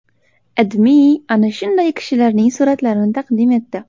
AdMe ana shunday kishilarning suratlarini taqdim etdi .